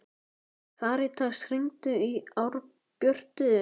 Karitas, hringdu í Árbjörtu.